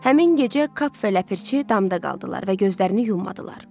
Həmin gecə Kap və Ləpirçi damda qaldılar və gözlərini yummadılar.